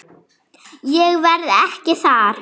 Ég verð ekki þar.